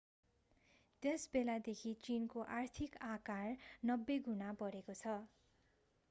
त्यसबेलादेखि चीनको आर्थिक आकार 90 गुणा बढेको छ